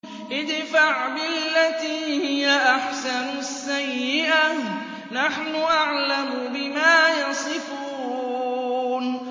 ادْفَعْ بِالَّتِي هِيَ أَحْسَنُ السَّيِّئَةَ ۚ نَحْنُ أَعْلَمُ بِمَا يَصِفُونَ